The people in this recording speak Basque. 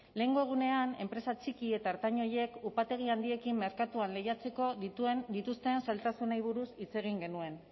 lehengo egunean enpresa txiki eta ertain horiek upategi handiekin merkatuan lehiatzeko dituzten zailtasunei buruz hitz egin genuen